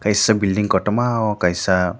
kisa bilding kotorma o Kaisa.